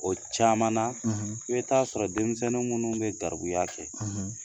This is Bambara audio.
O caman na, , i bɛ taa sɔrɔ denmisɛnnin minnu bɛ garibuya kɛ,